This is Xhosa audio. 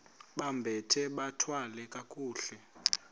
bambathe bathwale kakuhle